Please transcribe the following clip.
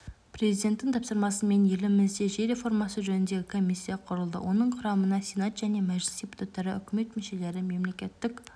президенттің тапсырмасыменелімізде жер реформасы жөніндегі комиссия құрылды оның құрамына сенат және мәжіліс депутаттары үкімет мүшелері мемлекеттік